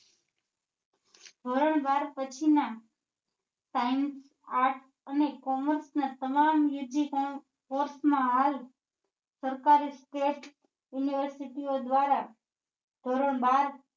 ધોરણ બાર પછી ના science arts અને commerce ના તમામ ના course માં હાલ સરકારી state university દ્વારા ધોરણ બાર